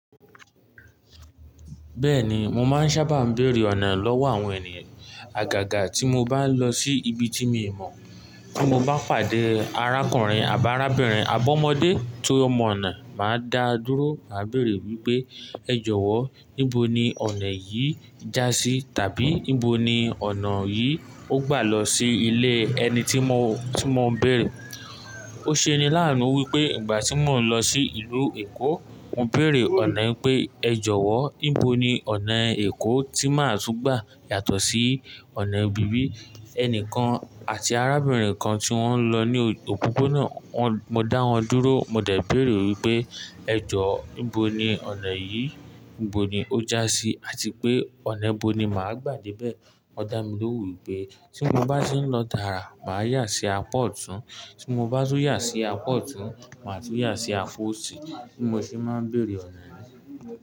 Bẹ́ẹ̀ni, mo máa ń sábà béèrè ọ̀nà lọ́wọ́ àwọn ènìyàn àgàgà tí mo bá ń lọ sí ibi tí mi ò mọ̀. Tí mo bá pàdé arákùnrin àbá arábìnrin abọ́mọdé tí ó mọ ọ̀nà, màá dáa dúró, màá béèrè wípé ẹ jọ̀wọ́ níbo ni ọ̀nà yìí já sí? Tàbí níbo ni ọ̀nà yìí ó gbà lọ sí ilé ẹni tí mo, tí mo ń bèèrè. Ó ṣe ni lánuu wípé ìgbà tí mò ń lọ sí ìlú Èkó, mo béèrè ọ̀nà wípé ẹ jọ̀wọ́ níbo ni ọ̀nà Èkó tí máa tú gbà yàtọ̀ sí ọ̀nà ibi bi? Ẹnìkan àti arábìnrin kan tí wọ́n ń lọ ní òpópónà, wọn, mo dá wọn dúró, mo dẹ̀ béèrè wípé ẹ jọ̀wọ́ níbo ni ọ̀nà yìí níbo ni ó já sí àti pé ọ̀nà níbo ni màá gbà dé bẹ̀. Wọ́n dá mi lóhùn wípé tí mo bá ti ń lọ tààrà, màá yà sí apá ọ̀tún, tí mo bá tún yà sí apá ọ̀tún màá tún yà sí apá òsì bí mo ṣe máa ń béèrè ọ̀nà ni.